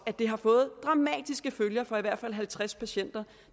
at det har fået dramatiske følger for i hvert fald halvtreds patienter